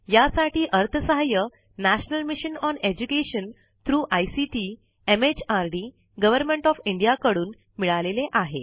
यासाठी अर्थसहाय्य national mission on education through ICT MHRD government of India कडून मिळालेले आहे